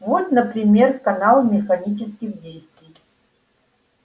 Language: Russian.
вот например канал механических действий